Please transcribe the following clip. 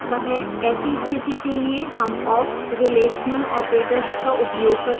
ऐसी स्थिति के लिए हम awk s relational operators का उपयोग कर सकते हैं